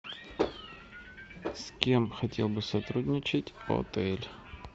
с кем хотел бы сотрудничать отель